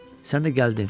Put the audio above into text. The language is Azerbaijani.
Sən də gəldin.